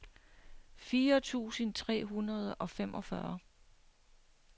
fire tusind tre hundrede og femogfyrre